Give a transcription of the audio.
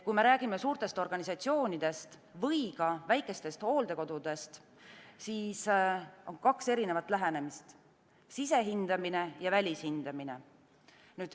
Kui me räägime suurtest organisatsioonidest või ka väikestest hooldekodudest, siis on kaks lähenemist: sisehindamine ja välishindamine.